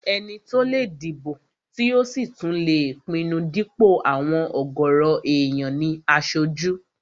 Ẹni tó lè dìbò tí ò sì tún lè pinnu dípò àwọn ọ̀gọ̀rọ̀ èèyàn ní aṣojú